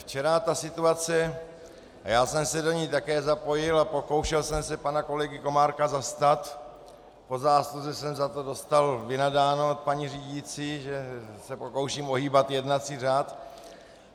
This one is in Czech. Včera ta situace - já jsem se do ní také zapojil a pokoušel jsem se pana kolegy Komárka zastat, po zásluze jsem za to dostal vynadáno od paní řídící, že se pokouším ohýbat jednací řád.